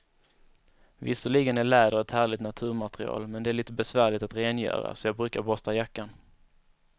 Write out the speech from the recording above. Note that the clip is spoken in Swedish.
Visserligen är läder ett härligt naturmaterial, men det är lite besvärligt att rengöra, så jag brukar borsta jackan.